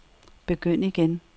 begynd igen